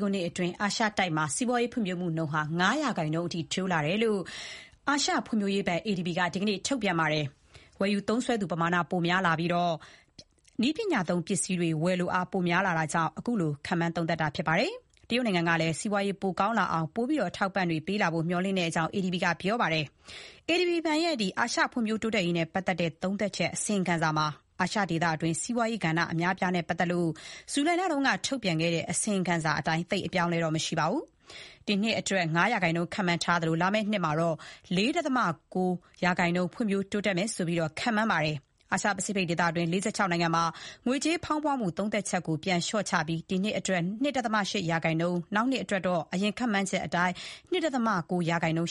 ခုနှစ်အတွင်း အာရှတိုက်ဟာ ၅ ရာခိုင်နှုန်း ပိုဖွံ့ဖြိုးတိုးတက်လာမယ်လို့ အာရှ ဖွံ့ဖြိုးရေးဘဏ် ADB က ဒီကနေ့မှာ ထုတ်ပြန်ပါတယ်။ ဝယ်ယူသုံးစွဲနိုင်သူ ပမာဏပိုများလာပြီး နည်းပညာသုံးပစ္စည်းတွေ ဝယ်လိုအား ပိုများလာတာကြောင့် အခုလို ခန့်မှန်းသုံးသပ်တာပါ။ တရုတ်နိုင်ငံကလည်း စီးပွားရေး ပိုကောင်းလာအောင် ပိုပြီး အထောက်အပံ့တွေ ပေးလာဖို့ မျှော်လင့်ကြောင်းလည်း ADB က ပြောပါတယ်။ ADB ရဲ့ အာရှဖွံ့ဖြိုးတိုးတက်ရေးနဲ့ ပတ်သတ်တဲ့ သုံးသပ်ချက် အစီရင်ခံစာမှာ အာရှဒေသတွင်း စီးပွားရေးကဏ္ဍအများအပြားနဲ့ ပတ်သတ်လို့ ဇူလိုင်လတုန်းက ထုတ်ပြန်တဲ့ အစီရင်ခံစာအတိုင်း သိပ်အပြောင်းအလဲတော့ မရှိပါဘူး။ ဒီနှစ်အတွက်တော့ ၅ ရာခိုင်နှုန်း ခန့်မှန်းထားပြီး လာမယ့်နှစ်မှာတော့ ၄.၉ ရာခိုင်နှုန်း ဖွံ့ဖြိုးတိုးတက်မယ်လို့ဆိုတယ်။ အာရှ ပစိဖိတ်ဒေသတွင်း ၄၆ နိုင်ငံမှာ ငွေကြေးဖေါင်းပွမှု သုံးသပ်ချက်ကို ပြန်လျှော့ချပြီး ဒီနှစ်အတွက် ၂.၈ ရာခိုင်နှုန်း၊ နောင်နှစ်အတွက်တော့ အရင် ခန့်မှန်းချက်အတိုင်း ၂.၉ ရာခိုင်နှုန်း